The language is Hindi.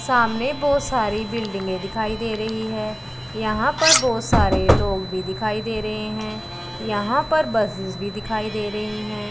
सामने बहुत सारी बिल्डिंगे दिखाई दे रही है यहां पर बहुत सारे लोग भी दिखाई दे रहे हैं यहां पर बसेस भी दिखाई दे रही हैं।